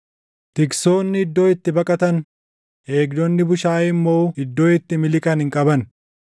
Tiksoonni iddoo itti baqatan, eegdonni bushaayee immoo iddoo itti miliqan hin qaban.